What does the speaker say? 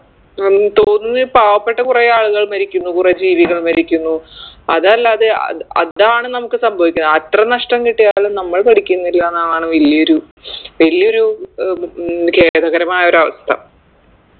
ഉം തോന്നുന്ന് പാവപ്പെട്ട കൊറേ ആളുകൾ മരിക്കുന്നു കുറേ ജീവികൾ മരിക്കുന്നു അതല്ലാതെ അത് അതാണ് നമുക്ക് സംഭവിക്കുന്നത് അത്ര നഷ്ട്ടം കിട്ടിയാലും നമ്മൾ പഠിക്കുന്നില്ലാന്നാണ് വലിയൊരു വലിയൊരു ഏർ ഉം ഖേദകരമായ അവസ്ഥ